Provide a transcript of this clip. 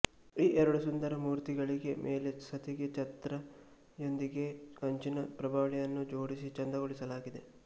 ಈ ಎರಡು ಸುಂದರ ಮೂರ್ತಿಗಳಿಗೆ ಮೇಲೆ ಸತಿಗೆ ಛತ್ರ ಯೊಂದಿಗೆ ಕಂಚಿನ ಪ್ರಭಾವಳಿಯನ್ನು ಜೋಡಿಸಿ ಚಂದಗೊಳಿಸಲಾಗಿದೆ